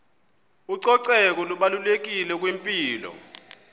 ucoceko lubalulekile kwimpilo